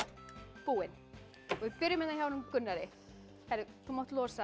búinn við byrjum hérna hjá honum Gunnari þú mátt losa